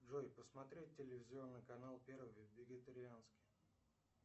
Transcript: джой посмотреть телевизионный канал первый вегетарианский